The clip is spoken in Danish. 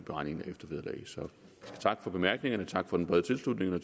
beregningen af eftervederlag så tak for bemærkningerne tak for den brede tilslutning jeg